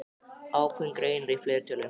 Ákveðinn greinir í fleirtölu.